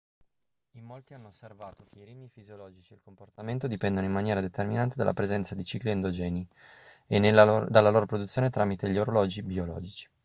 in molti hanno osservato che i ritmi fisiologici e il comportamento dipendono in maniera determinante dalla presenza di cicli endogeni e dalla loro produzione tramite gli orologi biologici